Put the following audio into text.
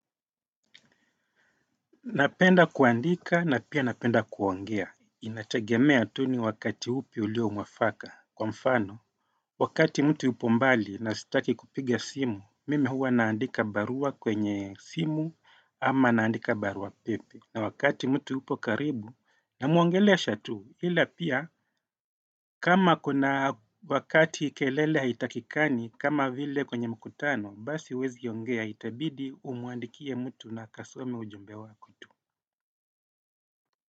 Napenda kuandika na pia napenda kuongea. Inategemea tu ni wakati upi ulio mwafaka kwa mfano. Wakati mtu yupo mbali na sitaki kupiga simu mimi huwa naandika barua kwenye simu ama naandika barua pepe. Na wakati mtu upo karibu na muongelesha tu ila pia kama kuna wakati kelele haitakikani kama vile kwenye mkutano basi uwezi yongea itabidi umwandikie mtu na akasome ujumbe wako. Kwa hivyo.